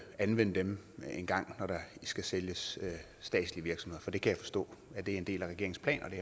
anvende dem engang når der skal sælges statslige virksomheder for jeg kan forstå at det er en del af regeringens plan